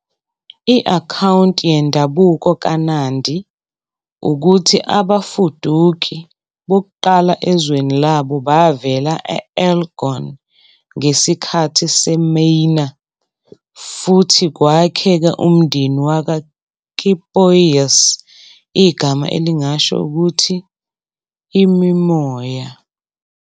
I-akhawunti yendabuko kaNandi ukuthi abafuduki bokuqala ezweni labo bavela e-Elgon ngesikhathi seMaina futhi kwakheka umndeni wakwaKipoiis, igama elingasho ukuthi 'imimoya'.